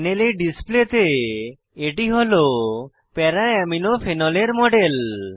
প্যানেলে ডিসপ্লে তে এটি হল para আমিনো প্যারা অ্যামিনো ফেনলের মডেল